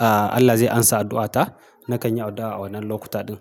aa Allah zai amsa addu'ata na kan yi addu'a a wannan lokuta ɗin.